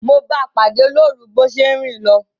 Mo báa pàdé lórun bo se n rin lo